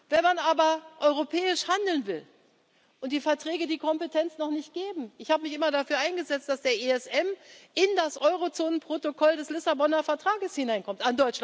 Wenn man aber europäisch handeln will und die Verträge die Kompetenz noch nicht geben ich habe mich immer dafür eingesetzt, dass der ESM in das Eurozonen Protokoll des Lissabonner Vertrages hineinkommt.